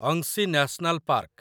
Anshi national park